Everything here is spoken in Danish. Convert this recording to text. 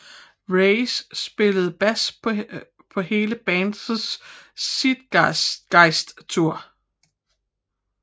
Reyes spillede bas på hele bandets Zeitgeist Tour